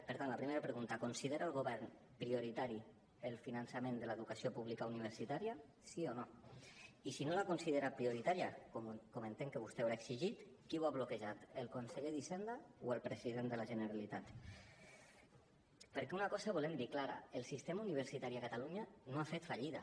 per tant la primera pregunta considera el govern prioritari el finançament de l’educació pública universitària sí o no i si no la considera prioritària com entenc que vostè deu haver exigit qui ho ha bloquejat el conseller d’hisenda o el president de la generalitat perquè una cosa volem dir clara el sistema universitari a catalunya no ha fet fallida